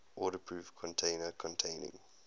waterproof container containing